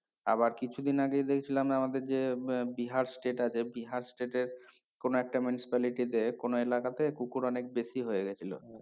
আবার কিছুদিন আগেই দেখছিলাম আমাদের যে উম বিহার state আছে বিহার state এর কোনো একটা municipality তে কোনো এলাকাতে কুকুর অনেক বেশি হয়ে গেছিলো